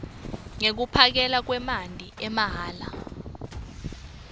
yekuphakelwa kwemanti amahhala